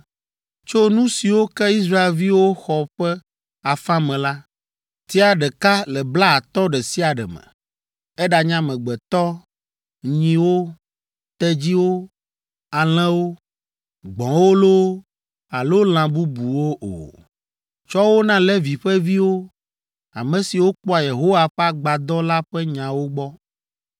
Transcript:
Tso nu siwo ke Israelviwo xɔ ƒe afã me la, tia ɖeka le blaatɔ̃ ɖe sia ɖe me, eɖanye amegbetɔ, nyiwo, tedziwo, alẽwo, gbɔ̃wo loo alo lã bubuwo o. Tsɔ wo na Levi ƒe viwo, ame siwo kpɔa Yehowa ƒe Agbadɔ la ƒe nyawo gbɔ.”